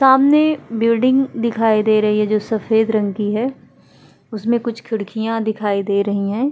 सामने बिल्डिंग दिखाई दे रही है जो सफेद रंग की है। उसमें कुछ खिड़कियां दिखाई दे रही है।